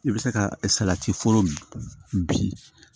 I bɛ se ka salati foro bin